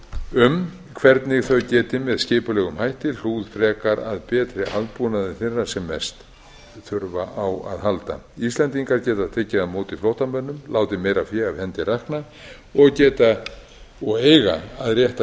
um hvernig þau geti með skipulegum hætti hlúð frekar að betri aðbúnaði þeirra sem mest þurfa á að halda íslendingar geta tekið á móti flóttamönnum látið meira fé af hendi rakna og geta og eiga að rétta